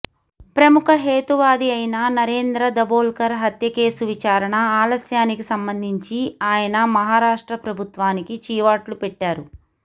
ప్రముఖ హేతువాది అయిన నరేంద్ర దబోల్కర్ హత్య కేసు విచారణ ఆలస్యానికి సంబంధించి ఆయన మహారాష్ట్ర ప్రభుత్వానికి చీవాట్లు పెట్టారు